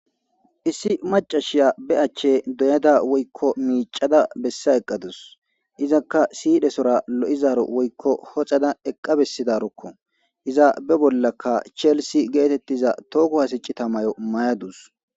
Issi macashiya be achche doyada woykko miicada bessa eqqadus izakka siidesora lo'izaro woykko hoxada eqqa bessidarukko izabe bollakka cheelisi geetettiza tooko hasicita mayo mayadus.